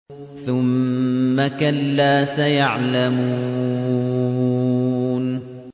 ثُمَّ كَلَّا سَيَعْلَمُونَ